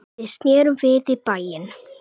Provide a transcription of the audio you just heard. Við snerum við í bæinn.